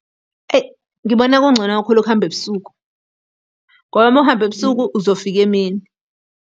Ngibona kungcono kakhulu ukuhamba ebusuku, ngoba uma ukuhamba ebusuku uzofika emini.